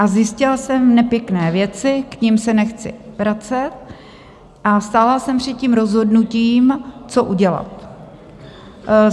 A zjistila jsem nepěkné věci, k nim se nechci vracet, a stála jsem před tím rozhodnutím, co udělat.